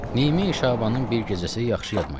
Nimi Şabanın bir gecəsi yaxşı yadıma gəlir.